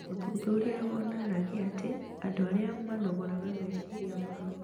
Ũthuthuria wonanagia atĩ andũ arĩa manogoraga meciria mao